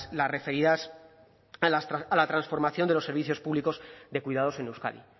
las referidas a la transformación de los servicios públicos de cuidados en euskadi